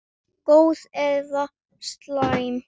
Góð eða slæm?